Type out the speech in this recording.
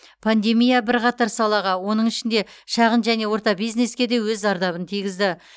пандемия бірқатар салаға оның ішінде шағын және орта бизнеске де өз зардабын тигізді